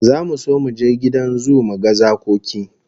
Zamu so mu je gidan zoo mu ga zakoki